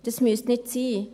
Das müsste nicht sein.